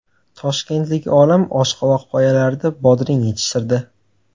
Toshkentlik olim oshqovoq poyalarida bodring yetishtirdi.